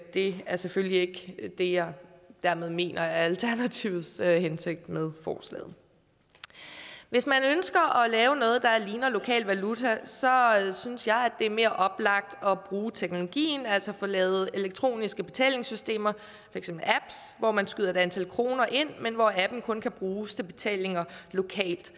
det er selvfølgelig ikke det jeg dermed mener er alternativets hensigt med forslaget hvis man ønsker at lave noget der ligner lokal valuta så synes jeg at det er mere oplagt at bruge teknologien altså at få lavet elektroniske betalingssystemer for eksempel apps hvor man skyder et antal kroner ind men hvor appen kun kan bruges til betalinger lokalt